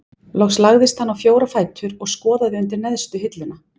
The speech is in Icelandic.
Loks lagðist hann á fjóra fætur og skoðaði undir neðstu hilluna.